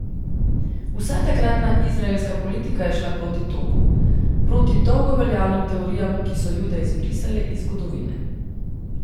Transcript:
Vsa takratna izraelska politika je šla proti toku, proti dolgo veljavnim teorijam, ki so Jude izbrisale iz zgodovine.